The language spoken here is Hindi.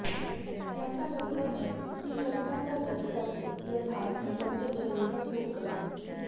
ऐसा लगता है कि कविता का रस तत्व यथार्थ की बंजर जमीन पर सूख गया